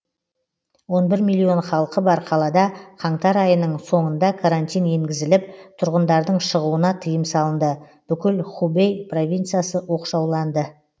он бір миллион халқы бар қалада қаңтар айының соңында карантин енгізіліп тұрғындардың шығуына тыйым салынды бүкіл хубэй провинциясы оқшауланды